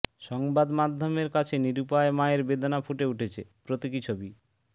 সংবাদ মাধ্যমের কাছে নিরুপায় মায়ের বেদনা ফুটে উঠেছে প্রতীকী ছবি